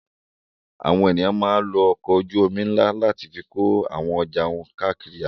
Àwọn ènìyàn máa ń lo ọkọ̀ ojú-omi ńlá láti fi kó àwọn ọjà káàkiri àgbáyé.